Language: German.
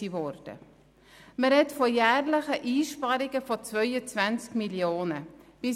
Es ist die Rede von jährlichen Einsparungen in der Höhe von 22 Mio. Franken.